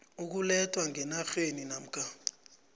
ukulethwa ngenarheni namkha